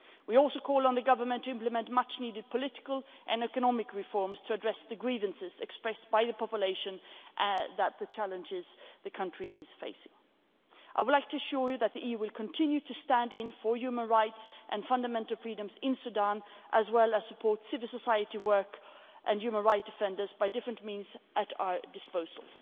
We also call on the Government to implement much needed political and economic reforms to address the grievances expressed by the population about the challenges the country is facing. I would like to assure you that the EU will continue to stand for human rights and fundamental freedoms in Sudan, as well as to support civil society work and human right defenders by different means at our disposal.